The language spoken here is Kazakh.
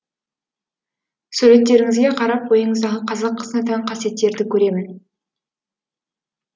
суреттеріңізге қарап бойыңыздағы қазақ қызына тән қасиеттерді көремін